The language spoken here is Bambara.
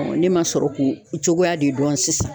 ne ma sɔrɔ k'o cogoya de dɔn sisan.